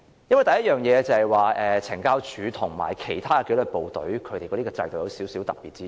第一，懲教署與其他紀律部隊的制度有少許特別之處。